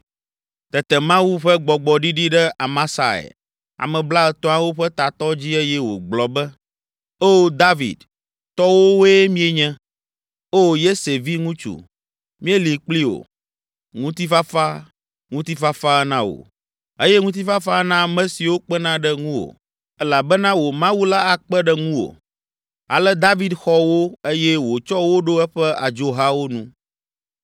Tete Mawu ƒe Gbɔgbɔ ɖiɖi ɖe Amasai, Ame Blaetɔ̃awo ƒe tatɔ dzi eye wògblɔ be, “Oo David, tɔwòwoe míenye! Oo Yese viŋutsu, míeli kpli wò! Ŋutifafa, ŋutifafa na wò eye ŋutifafa na ame siwo kpena ɖe ŋuwò, elabena wò Mawu la akpe ɖe ŋuwo.” Ale David xɔ wo eye wòtsɔ wo ɖo eƒe adzohawo nu.